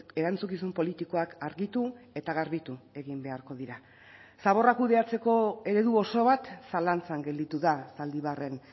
erantzukizun politikoak argitu eta garbitu egin beharko dira zaborra kudeatzeko eredu oso bat zalantzan gelditu da zaldibarren